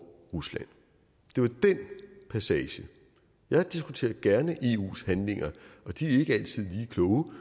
rusland det var den passage jeg diskuterer gerne eus handlinger og de er ikke altid lige kloge